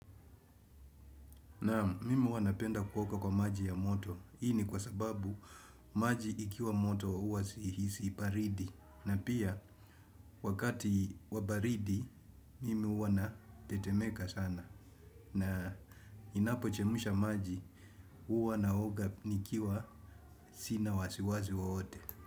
Naam, mimi huwa napenda kuoga kwa maji ya moto, hii ni kwa sababu maji ikiwa moto huwa sihisi baridi, na pia wakati wa baridi mimi huwa natetemeka sana, na ninapo chemsha maji huwa naoga nikiwa sina wasiwasi wowote.